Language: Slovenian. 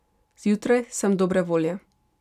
Zjutraj sem dobre volje.